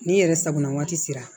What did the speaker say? Ni yɛrɛ sakona waati sera